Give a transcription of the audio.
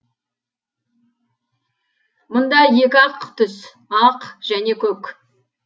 мұнда екі ақ түс ақ және көк